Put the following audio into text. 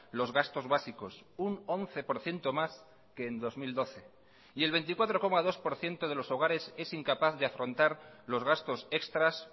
los gastos básicos un once por ciento más que en dos mil doce y el veinticuatro coma dos por ciento de los hogares es incapaz de afrontar los gastos extras